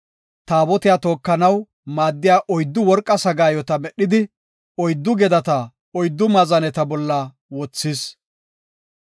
Taabotiya tookanaw maaddiya oyddu worqa sagaayota medhidi, oyddu gedata oyddu maazaneta bolla wothis.